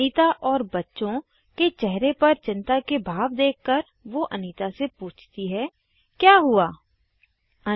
अनीता और उसके बच्चों के चेहरों पर चिंता के भाव देखकर वो अनीता से पूछती है क्या हुआ160